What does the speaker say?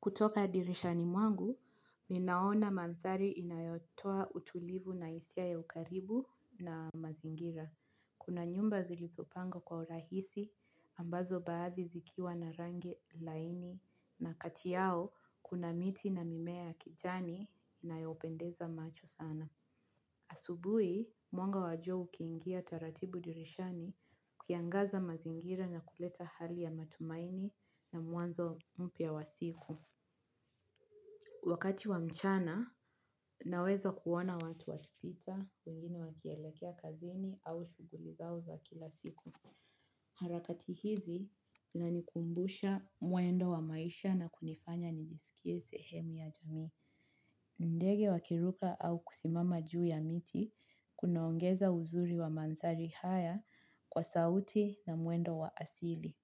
Kutoka dirishani mwangu, ninaona mandhari inayotoa utulivu na hisia ya ukaribu na mazingira. Kuna nyumba zilizopangwa kwa urahisi ambazo baadhi zikiwa na rangi laini na kati yao kuna miti na mimea ya kijani inayopendeza macho sana. Asubuhi, mwanga wa jua ukiingia taratibu dirishani ukiangaza mazingira na kuleta hali ya matumaini na mwanzo mpya wa siku. Wakati wa mchana, naweza kuona watu wakipita, wengine wakielekea kazini au shughuli zao za kila siku. Harakati hizi zinanikumbusha mwendo wa maisha na kunifanya nijisikie sehemu ya jamii. Ndege wakiruka au kusimama juu ya miti, kunaongeza uzuri wa mandhari haya kwa sauti na mwendo wa asili.